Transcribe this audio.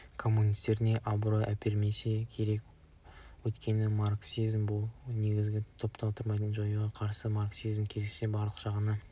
коммунистеріне абырой әпермесе керек өйткені марксизм бұл негізді түп-тамырымен жоюға қарсы марксизм керісінше барлық жағынан